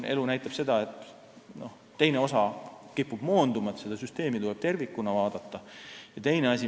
Elu näitab seda, et siis teine osa kipub moonduma, aga seda süsteemi tuleb vaadata tervikuna.